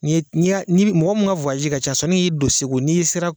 Ni, ni a, ni mɔgɔ min ka ka ca sisan no y'i don segu n'i sera.